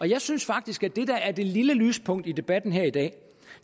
jeg synes faktisk at det der er det lille lyspunkt i debatten her i dag